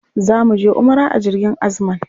Za mu je umra a jirgin Azman.